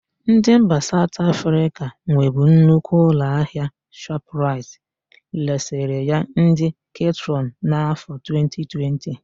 Ndị mba Saụt Afrịka nwebu nnukwu ụlọahịa Shọpraịt resịrị ya ndị Ketrọn n'áfọ̀ 2020.